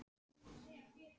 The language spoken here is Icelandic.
Heldur þú að þú komist áfram?